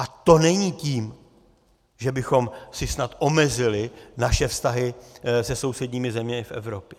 A to není tím, že bychom si snad omezili naše vztahy se sousedními zeměmi v Evropě.